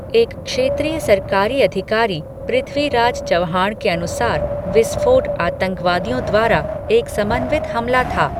एक क्षेत्रीय सरकारी अधिकारी, पृथ्वीराज चव्हाण के अनुसार, विस्फोट आतंकवादियों द्वारा एक समन्वित हमला थे।